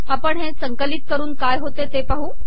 आपण हे संकिलत करन काय होते ते पाहू